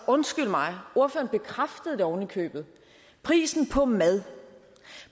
undskyld mig ordføreren bekræftede det oven i købet prisen på mad